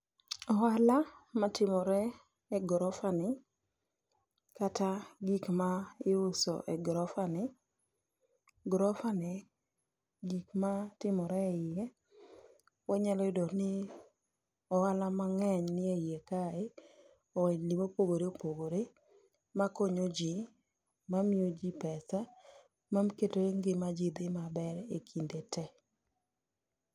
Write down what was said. Ohala matimore e gorofa ni, kata gik ma iuso e gorofa ni. Grofa ni gikma timore e iye, wanyalo yudo ni ohala mang'eny nie iye kae. Ohelni mopogore opogore makonyo ji, mamiyo ji pesa, ma keto ngima ji dhi maber e kinde te.